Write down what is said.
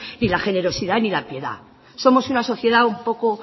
ni la generosidad ni la piedad somos una sociedad un poco